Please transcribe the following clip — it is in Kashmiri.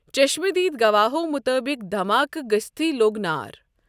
چشمہٕ دیٖد گواہَو مُطٲبِق دھماکہٕ گژھِتۍ لوٚگ نار۔